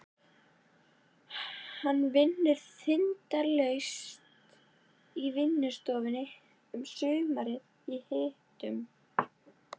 Hún vinnur þindarlaust í vinnustofunni um sumarið í hitunum.